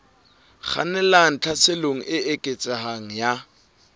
kgannelang tlhaselong e eketsehang ya